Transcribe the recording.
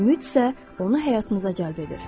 Ümid isə onu həyatımıza cəlb edir.